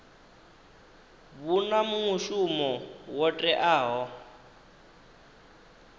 vhu na mushumo wo teaho